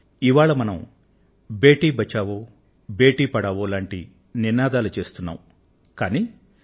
ఇవాళ మనం బేటీ బచావో బేటీ పఢావో ఆడపిల్లను రక్షించు ఆడపిల్లను చదివించు గురించి మాట్లాడుకొంటున్నాం